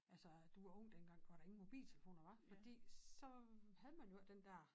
Altså at du var ung dengang hvor der ingen mobiltelefoner var fordi så havde man jo ikke den dér